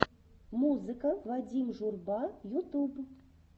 музыка вадим журба ютуб